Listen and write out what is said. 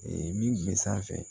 Ee min bɛ sanfɛ